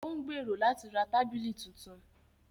Ó ń gbèrò láti ra tábìlì tuntun